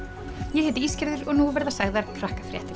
ég heiti og nú verða sagðar